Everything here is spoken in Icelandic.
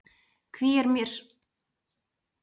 Hví er mér svo þungt, hví renna tár?